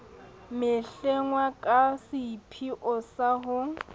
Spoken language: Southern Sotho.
mehlengwa ka seipheo sa ho